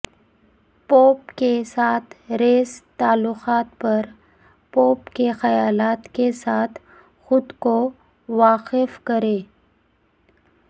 pope کے ساتھ race تعلقات پر پوپ کے خیالات کے ساتھ خود کو واقف کریں